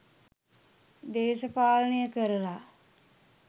දේශපාලනය කරලා.